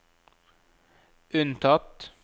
unntatt